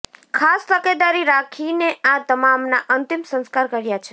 ખાસ તકેદારી રાખીને આ તમામના અંતિમ સંસ્કાર કર્યા છે